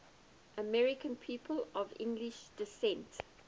american people of english descent